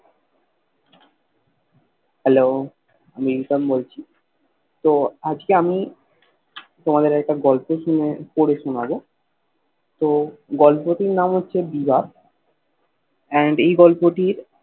hello আমি হুসেন বলছি তো আজকে আমি তোমাদের একটা গল্প শুনে পরে শুনাবো তো গল্পটির নাম হচ্ছে বিরা and এই গল্পটির